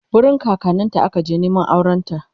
wurin kakanninta aka je Neman aurenta